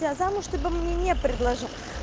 а замуж ты бы мне не предложил